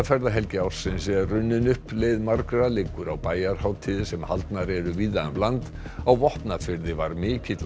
ferðahelgi ársins er runnin upp leið margra liggur á bæjarhátíðir sem haldnar eru víða um land á Vopnafirði var mikill